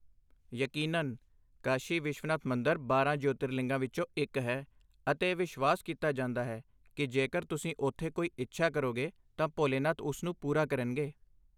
ਯਕੀਨਨ, ਕਾਸ਼ੀ ਵਿਸ਼ਵਨਾਥ ਮੰਦਰ ਬਾਰਾਂ ਜੋਤਿਰਲਿੰਗਾਂ ਵਿੱਚੋਂ ਇੱਕ ਹੈ, ਅਤੇ ਇਹ ਵਿਸ਼ਵਾਸ ਕੀਤਾ ਜਾਂਦਾ ਹੈ ਕਿ ਜੇਕਰ ਤੁਸੀਂ ਉੱਥੇ ਕੋਈ ਇੱਛਾ ਕਰੋਗੇ, ਤਾਂ ਭੋਲੇਨਾਥ ਉਸ ਨੂੰ ਪੂਰਾ ਕਰਨਗੇ!